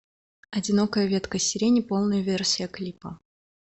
одинокая ветка сирени полная версия клипа